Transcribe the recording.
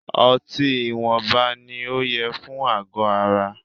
Ọtí ìwọnba ní o yẹ fún àgọ ara.